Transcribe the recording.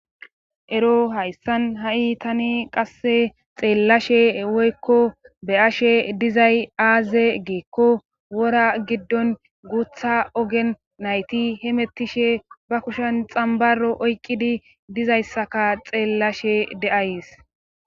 Erro Haysan ayi haysan tani qasse xelashe woyko beyashe dizay aze gikko wora gidon gutha ogeninayiti hemetishe bakushen xamaro oyqidi dizayssaka xelashe days.